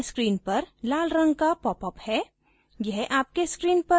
ध्यान दें कि यहाँ screen पर लाल रंग का popअप है